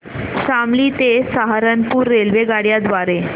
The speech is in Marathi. शामली ते सहारनपुर रेल्वेगाड्यां द्वारे